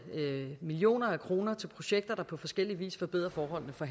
millioner af kroner til projekter der på forskellig vis forbedrer forholdene for